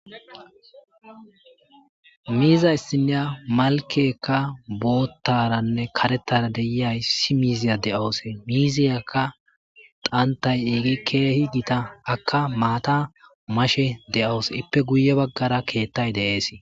miiza issinya malkekka boottaranne karetara deyiyay issi miiziya de7oose miiziyakka qantay eegi keehi giita akka maata mashe de7owose ippe guye baggara keettay deees